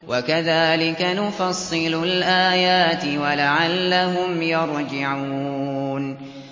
وَكَذَٰلِكَ نُفَصِّلُ الْآيَاتِ وَلَعَلَّهُمْ يَرْجِعُونَ